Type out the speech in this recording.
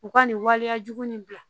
U ka nin waleyajugu nin bila